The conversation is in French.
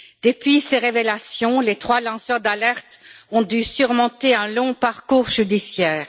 Depuis ces révélations, les trois lanceurs d'alerte ont dû subir un long parcours judiciaire.